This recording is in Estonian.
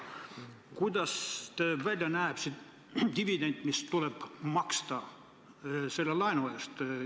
Kuidas see välja näeb, see dividend, mis tuleb maksta selle laenu eest?